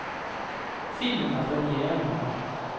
Filmen har premiere i morgen.